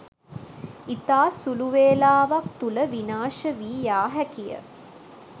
ඉතා සුලු වේලාවක් තුළ විනාශ වී යා හැකිය.